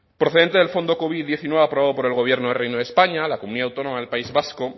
procedente del fondo covid diecinueve aprobado por el gobierno del reino de españa la comunidad autónoma del país vasco